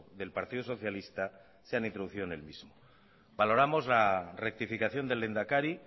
del partido socialista se han introducido en el mismo valoramos la rectificación del lehendakari